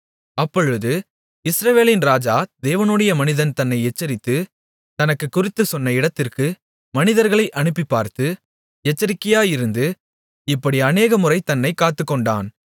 அப்பொழுது இஸ்ரவேலின் ராஜா தேவனுடைய மனிதன் தன்னை எச்சரித்து தனக்குக் குறித்துச்சொன்ன இடத்திற்கு மனிதர்களை அனுப்பிப்பார்த்து எச்சரிக்கையாயிருந்து இப்படி அநேக முறை தன்னைக் காத்துக்கொண்டான்